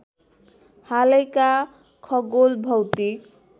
हालैका खगोल भौतिक